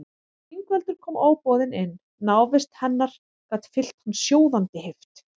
Ingveldur kom óboðin inn, návist hennar gat fyllt hann sjóðandi heift.